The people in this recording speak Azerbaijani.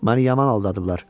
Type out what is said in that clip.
Məni yaman aldadıblar.